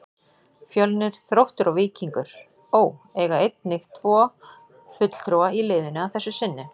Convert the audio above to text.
Fjölnir, Þróttur og Víkingur Ó. eiga einnig tvo fulltrúa í liðinu að þessu sinni.